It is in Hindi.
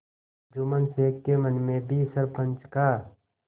जुम्मन शेख के मन में भी सरपंच का